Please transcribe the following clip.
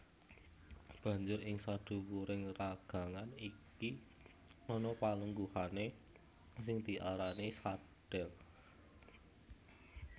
Banjur ing sadhuwuring ragangan iki ana palungguhané sing diarani sadhel